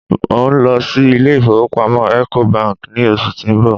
n o lọ sí ilé ifowópamọ́ eco Bank ni oṣù ti n bọ̀